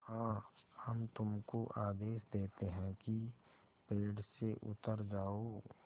हाँ हम तुमको आदेश देते हैं कि पेड़ से उतर जाओ